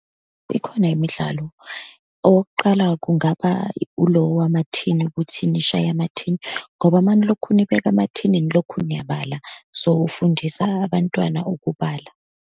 Ikhona imidlalo. Owokuqala, kungaba ulo wamathini, ukuthi nishaye amathini, ngoba uma nilokhu nibeka emathini nilokhu niyabala. So, ufundisa abantwana ukubala.